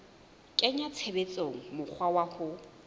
kenya tshebetsong mokgwa wa ho